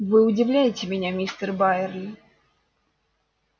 вы удивляете меня мистер байерли